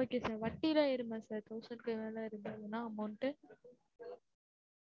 okay sir வட்டிலா ஏறுமா sir thousand க்கு மேல இருந்தா amount டு